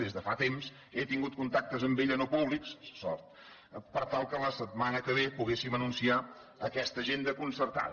des de fa temps he tingut contactes amb ella no públics sort per tal que la setmana que ve poguéssim anunciar aquesta agenda concertada